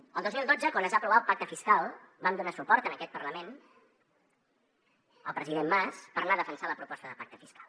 el dos mil dotze quan es va aprovar el pacte fiscal vam donar suport en aquest parlament al president mas per anar a defensar la proposta de pacte fiscal